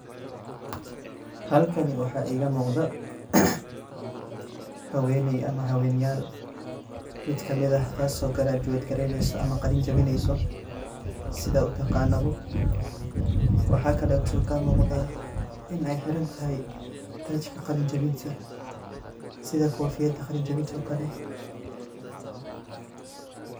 Halkani waxa igamugdo, haweney ama haweyneyal mid kamid ah taaso graduate gareyneyso ama qalin jawineyso sida utagana bo, waxa kale igamugda inay xirantaxay darka qalin jawinta, sida kofiyada qalin jawintan o kale.